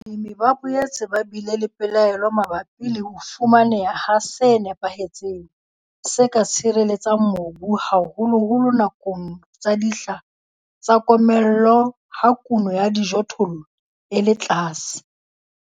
Balemi ba boetse ba bile le pelaelo mabapi le ho fumaneha ha se nepahetseng, se ka tshireletsang mobu haholoholo nakong tsa dihla tsa komello ha kuno ya dijothollo e le tlase.